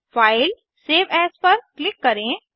फाइलगटीजीटी save as पर click करें